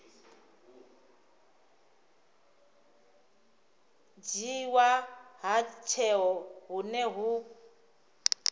dzhiiwa ha tsheo hune hu